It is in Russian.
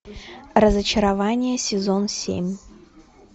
разочарование сезон семь